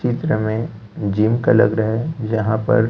चित्र में जिम का लग रहा है जहां पर--